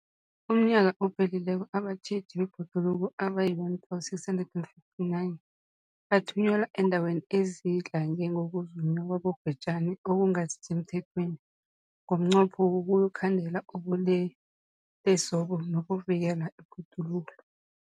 UmNnyaka ophelileko abatjheji bebhoduluko abayi-1 659 bathunyelwa eendaweni ezidlange ngokuzunywa kwabobhejani okungasi semthethweni ngomnqopho wokuyokukhandela ubulelesobu nokuvikela ibhoduluko.